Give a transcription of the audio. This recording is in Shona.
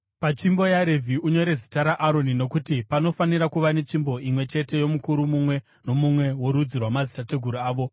Patsvimbo yaRevhi unyore zita raAroni, nokuti panofanira kuva netsvimbo imwe chete yomukuru mumwe nomumwe worudzi rwamadzitateguru avo.